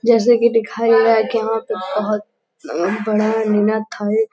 जैसे कि दिखाई है कि यहां पे बहुत बड़ा निना थाई --